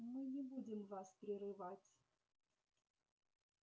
мы не будем вас прерывать